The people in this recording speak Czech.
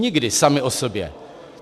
Nikdy sama o sobě.